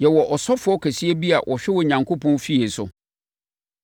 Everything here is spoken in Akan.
Yɛwɔ ɔsɔfoɔ kɛseɛ bi a ɔhwɛ Onyankopɔn fie so.